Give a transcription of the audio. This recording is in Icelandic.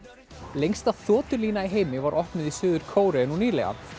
lengsta þotulína í heimi var opnuð í Suður Kóreu nú nýlega